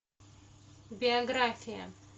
биография